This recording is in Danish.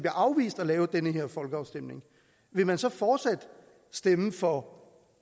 afvist at have den her folkeafstemning vil man så fortsat stemme for